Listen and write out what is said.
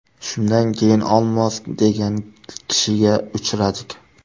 Shundan keyin Olmos degan kishiga uchradik.